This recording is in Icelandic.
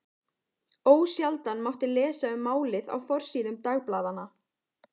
Ósjaldan mátti lesa um málið á forsíðum dagblaðanna.